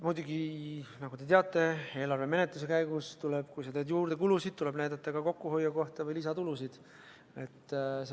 Muidugi, nagu te teate, tuleb eelarve menetluse käigus kulusid juurde tehes näidata ära ka kokkuhoiukoht või lisatulude võimalus.